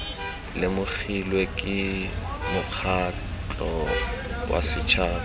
lemogilwe ke mokgatlho wa setšhaba